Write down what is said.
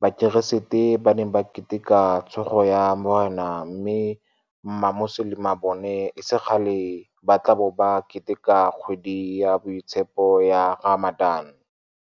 Bakeresete ba ne ba Keteka Tsogo ya Morena mme Mamoselema bona e se kgale ba tla bo ba ke teka kgwedi ya boitshepo ya Ramadan.